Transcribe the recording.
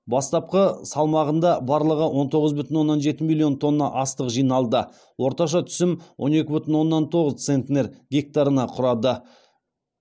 бастапқы салмағында барлығы он тоғыз бүтін оннан жеті миллион тонна астық жиналды орташа түсім он екі бүтін оннан тоғыз центнер гектарына құрады